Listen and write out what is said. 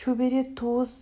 шөбере туыс